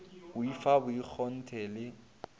o i fa bokgonthe le